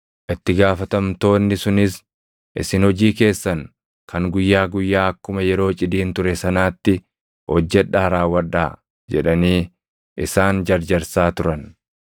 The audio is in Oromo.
Itti gaafatamtoonni sunis, “Isin hojii keessan kan guyyaa guyyaa akkuma yeroo cidiin ture sanaatti hojjedhaa raawwadhaa” jedhanii isaan jarjarsaa turan.